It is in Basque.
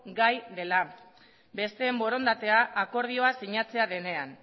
gai dela besteen borondatea akordioa sinatzen denean